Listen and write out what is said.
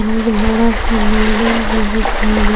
मे एक बड़ा से बिल्डिंग भी दिखाइ दे--